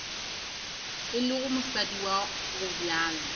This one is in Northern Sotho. e lego mosadi wa gobjalo